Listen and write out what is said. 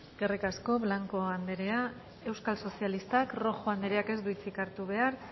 eskerrik asko blanco andrea euskal sozialistak rojo andreak ez du hitzik hartu behar